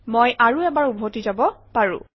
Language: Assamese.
মই আৰু এবাৰ উভতি যাব পাৰোঁ